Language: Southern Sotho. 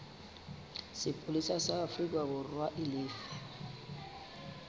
sepolesa sa aforikaborwa e lefe